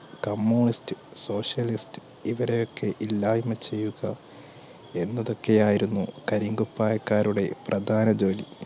communist socialist ഇവരെയൊക്കെ ഇല്ലായ്മ ചെയ്യുക എന്നതൊക്കെയായിരുന്നു കരിങ്കുപ്പായക്കാരുടെ പ്രധാന ജോലി